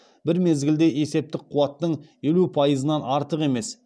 бір мезгілде есептік қуаттың елу пайызынан артық емес